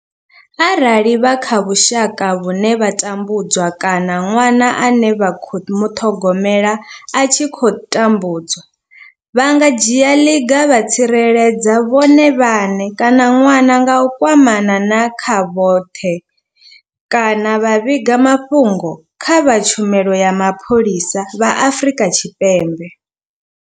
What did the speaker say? Arali vha kha vhusha ka vhune vha tambudzwa kana ṅwana ane vha khou muṱhogomela a tshi khou tambudzwa, vha nga dzhia ḽiga vha tsireledza vhone vhaṋe kana ṅwana nga u kwamana na kha vhoṱhe kana vha vhiga mafhungo kha vha tshumelo ya mapholisa vha Afrika Tshipembe.